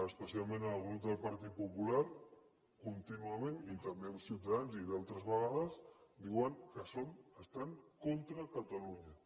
especialment el grup del partit popular contínuament i també amb ciutadans i d’altres vegades diuen que són que estan contra catalunya